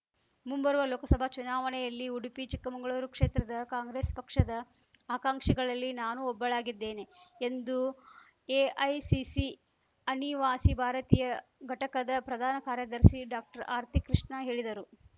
ಮುಂಬರುವ ಲೋಕಸಭಾ ಚುನಾವಣೆಯಲ್ಲಿ ಉಡುಪಿ ಚಿಕ್ಕಮಂಗಳೂರು ಕ್ಷೇತ್ರದ ಕಾಂಗ್ರೆಸ್‌ ಪಕ್ಷದ ಆಕಾಂಕ್ಷಿಗಳಲ್ಲಿ ನಾನೂ ಒಬ್ಬಳಾಗಿದ್ದೇನೆ ಎಂದು ಎಐಸಿಸಿ ಅನಿವಾಸಿ ಭಾರತೀಯ ಘಟಕದ ಪ್ರಧಾನ ಕಾರ್ಯದರ್ಶಿ ಡಾಕ್ಟರ್ಆರತಿ ಕೃಷ್ಣ ಹೇಳಿದರು